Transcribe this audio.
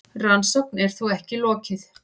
Rannsókn er þó ekki lokið.